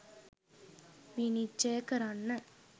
විනිශ්චය කරන්න.